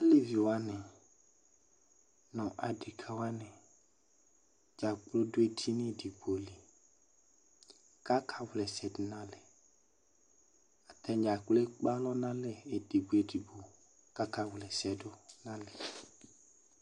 Aleviwani nʋ adekawani dzaa kplo dʋ edini edigbo li k'aka wla ɛsɛ dʋ n'alɛ Atadzaa kplo ekpe alɔ n'alɛ edigbo edigbo k'aka wla ɛsɛ dʋ n'alɛ